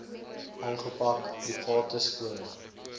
aangepak private skole